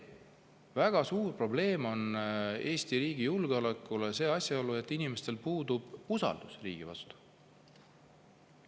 Väga suur probleem Eesti riigi julgeolekule on ka asjaolu, et inimestel puudub usaldus riigi vastu.